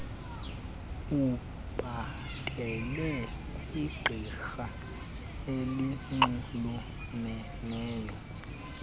ubhatele kwigqirha elinxulumeneyo